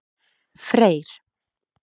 Freyr